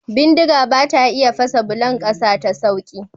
Bindiga bata iya fasa bulon ƙasa ta sauƙi.